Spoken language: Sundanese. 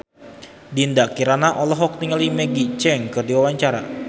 Dinda Kirana olohok ningali Maggie Cheung keur diwawancara